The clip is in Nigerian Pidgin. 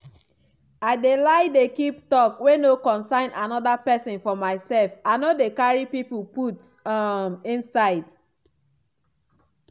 i dey like dey keep talk wey no concern anoda pesin for myself i no dey carry people put um inside.